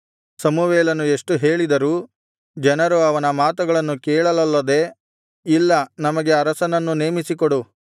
ಸಮುವೇಲನು ಎಷ್ಟು ಹೇಳಿದರೂ ಜನರು ಅವನ ಮಾತುಗಳನ್ನು ಕೇಳಲೊಲ್ಲದೆ ಇಲ್ಲ ನಮಗೆ ಅರಸನನ್ನು ನೇಮಿಸಿಕೊಡು